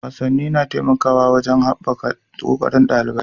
Wasanni na taimakawa wajen haɓaka ƙoƙarin ɗalibai.